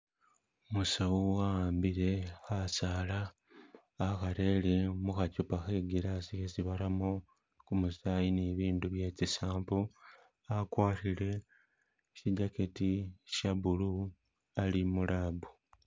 Umusawu wahambile kasaala akarele mukhacupa khe glass yesi baramo gumusayi ni bindu bye tsi sample akwarile shi jacketi sha blue ali mu lab.